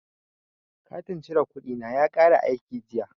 Katin cire kuɗi na ya kare aiki jiya.